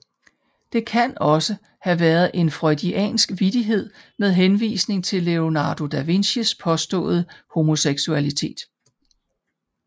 Det kan også have været en freudiansk vittighed med henvisning til Leonardo da Vincis påståede homoseksualitet